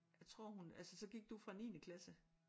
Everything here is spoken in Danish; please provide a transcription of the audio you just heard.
Jeg tror hun altså så gik du fra niende klasse?